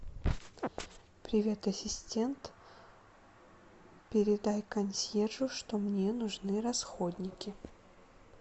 привет ассистент передай консьержу что мне нужны расходники